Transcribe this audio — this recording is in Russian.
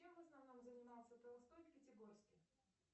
чем в основном занимался толстой в пятигорске